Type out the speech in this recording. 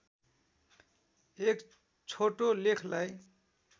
एक छोटो लेखलाई